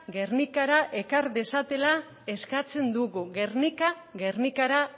gernikara ekar dezatela eskatzen dugu guernica gernikara